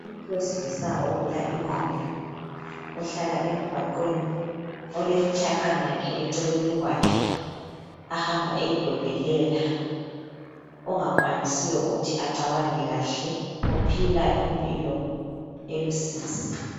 Umuntu wesilisa ogula ingqondo, ohlala emgwaqweni, olemitshaqana yakhe eceleni kwakhe, ahamba eyidobhelela, ongakwanisiyo ukuthi acabange kahle, ophila impilo elusizi.